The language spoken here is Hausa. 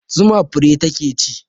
Zuma fure ta ke ci